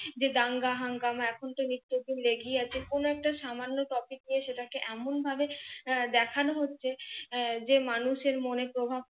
যে দাঙ্গা হাঙ্গামা এখন তো নিত্য দিন লেগেই আছে। কোন একটা সামান্য TOPIC নিয়ে সেটাকে এমন ভাবে দেখানো হচ্ছে আহ যে মানুষের মনে প্রভাব